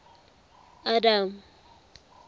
adam